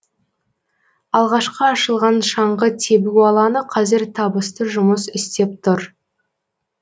алғашқы ашылған шаңғы тебу алаңы қазір табысты жұмыс істеп тұр